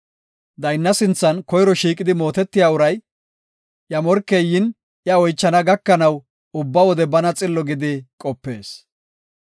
Daynna sinthan koyro shiiqidi mootiya uray, iya morkey yin, iya oychana gakanaw, ubba wode bana xillo gidi qopees.